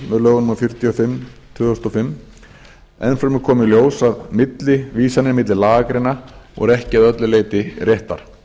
í lögum númer fjörutíu og fimm tvö þúsund og fimm enn fremur kom í ljós að millivísanir á milli lagagreina voru ekki að öllu leyti réttar